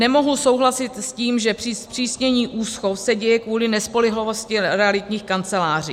Nemohu souhlasit s tím, že zpřísnění úschov se děje kvůli nespolehlivosti realitních kanceláří.